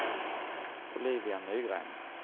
Olivia Nygren